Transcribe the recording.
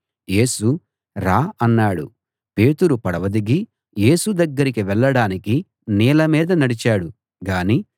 యేసు రా అన్నాడు పేతురు పడవ దిగి యేసు దగ్గరికి వెళ్ళడానికి నీళ్ళ మీద నడిచాడు గాని